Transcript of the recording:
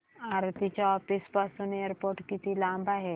आरती च्या ऑफिस पासून एअरपोर्ट किती लांब आहे